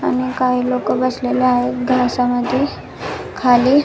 आणि काही लोक बसलेले आहेत घासामध्ये खाली--